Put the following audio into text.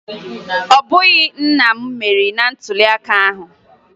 Ọ bụghị nna m meriri na ntụliaka ahụ